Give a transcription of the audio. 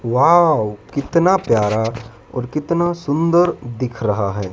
Wow कितना प्यार और कितना सुंदर दिख रहा है।